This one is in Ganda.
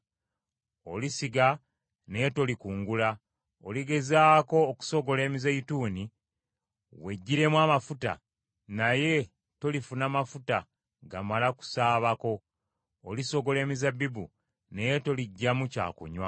Olisiga naye tolikungula, oligezaako okusogola emizeeyituuni weggyiremu amafuta naye tolifuna mafuta gamala kusaabako, olisogola emizabbibu naye toliggyamu kyakunywa.